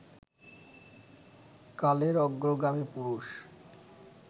কালের অগ্রগামী পুরুষ